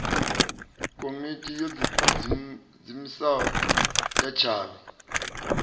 komiti yo diimisaho ya tshavhi